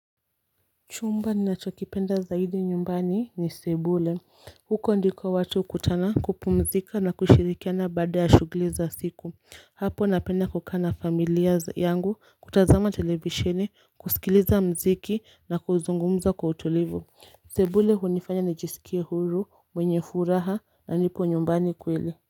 Chumba ninachokipenda zaidi nyumbani ni sebule huko ndiko watu hukutana, kupumzika na kushirikiana baada ya shughuli za siku. Hapo napenda kukaa na familia yangu kutazama televisheni, kusikiliza mziki na kuzungumza kwa utulivu. Sebule hunifanya nijisikie huru mwenye furaha na nipo nyumbani kweli.